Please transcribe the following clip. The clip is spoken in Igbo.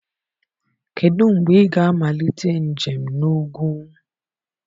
Kedụ mgbe ị ga-amalite njem na ugwu?